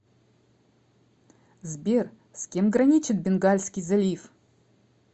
сбер с кем граничит бенгальский залив